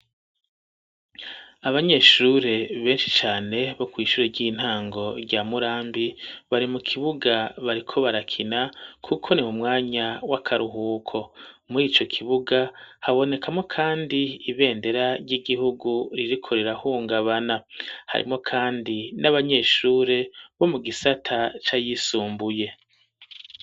Abanyeshure beshi cane bo kw'ishure ry'intango rya Murambi bari mu kibuga bariko barakina kuko ni mu mwanya w'akaruhuko murico kibuga habonekamwo kandi ibendera ry'igihugu ririko rira hungabana harimwo kandi n'abanyeshure bo mu gisata cayisumbuye.